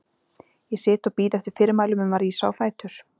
Ég sit og bíð eftir fyrirmælum um að rísa á fætur.